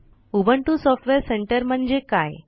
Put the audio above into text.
Ubuntu software centre म्हणजे काय